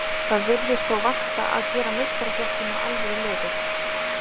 Það virðist þó vanta að gera meistaraflokkinn að alvöru liði.